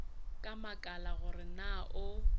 a makala gore na o